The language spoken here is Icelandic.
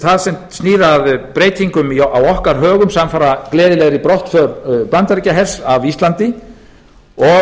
það sem snýr að breytingum á okkar högum samfara gleðilegri brottför bandaríkjahers af íslandi og